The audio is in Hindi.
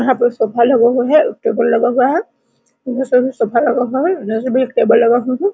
यहाँ पे एक सोफा लगा हुआ है उसके ऊपर लगा हुआ है बहुत सारा सोफा लगा हुआ है इधर भी एक टेबल लगा हुआ है।